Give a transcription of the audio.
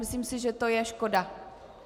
Myslím si, že to je škoda.